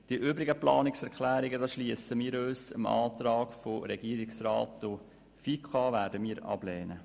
Bei den übrigen Planungserklärungen schliessen wir uns dem Regierungsrat und der FiKo an und lehnen diese ab.